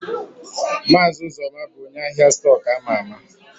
Maazi Uzoma bu onye ahia stọkụ ama ama.